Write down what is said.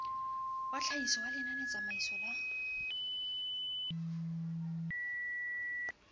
wa tlhahiso ya lenanetsamaiso la